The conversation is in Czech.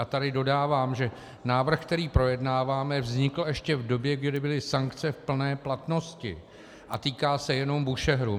A tady dodávám, že návrh, který projednáváme, vznikl ještě v době, kdy byly sankce v plné platnosti, a týká se jenom Búšehru.